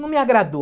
Não me agradou.